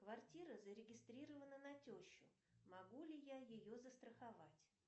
квартира зарегистрирована на тещу могу ли я ее застраховать